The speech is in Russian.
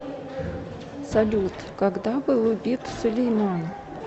салют когда был убит сулейман